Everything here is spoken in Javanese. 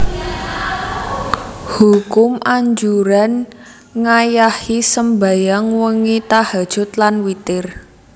Hukum Anjuran ngayahi sembahyang wengi tahajjud lan witir